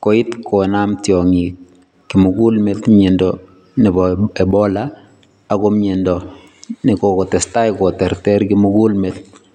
koit konam tiongik kimugul meet miando nebo Ebola ako miando nekokotestai koterter kimugul met.